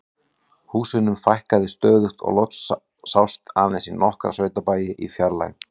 Húsunum fækkaði stöðugt og loks sást aðeins í nokkra sveitabæi í fjarlægð.